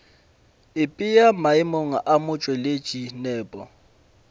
ipea maemong a motšweletši nepo